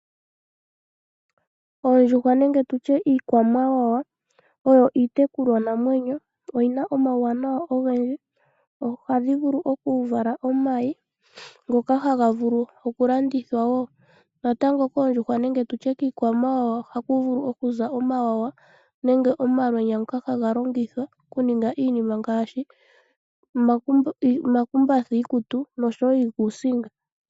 Oondjuhwa nenge tutye iikwamawawa oyo iitekulwa namwenyo. Oyina omawunawa ogendji. Ohadhi vulu okuvala omayi ngoka haga landithwa woo natango koondjuhwa nenge kiikwamawawa ohaku vulu okuza omawawa nenge omalwenya ngoka haga longithwa okuninga iinima ngaashi omakumbatha oshowo iikuusinga.